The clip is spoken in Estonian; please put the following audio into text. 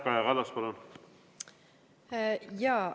Kaja Kallas, palun!